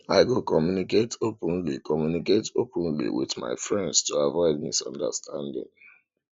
i go communicate openly communicate openly with my friends to avoid misunderstandings